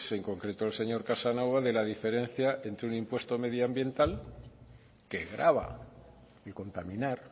en concreto el señor casanova de la diferencia entre un impuesto medioambiental que grava y contaminar